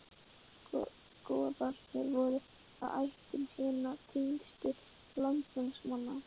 Goðarnir voru af ættum hinna tignustu landnámsmanna.